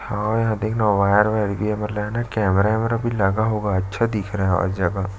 और यहाँ देखना यहाँ वायर आएर भी लगा हैं कैमरा वेमेरा भी लगा होगा अच्छा दिख रहा है और जगह --